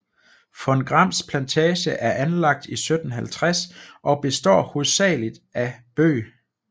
Von Grams Plantage er anlagt i 1750 og består hovedsagelig af bøg